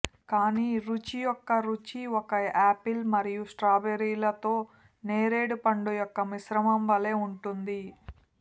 కానీ రుచి యొక్క రుచి ఒక ఆపిల్ మరియు స్ట్రాబెర్రీలతో నేరేడు పండు యొక్క మిశ్రమం వలె ఉంటుంది